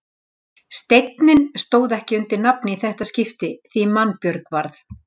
Steinninn stóð ekki undir nafni í þetta skipti því mannbjörg varð.